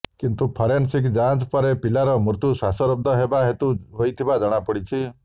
କିନ୍ତୁ ଫରେନସିକ୍ ଯାଞ୍ଚ ପରେ ପିଲାର ମୃତ୍ୟୁ ଶ୍ୱାସରୁଦ୍ଧ ହେବା ହେତୁ ହୋଇଥିବା ଜଣାପଡ଼ିଛି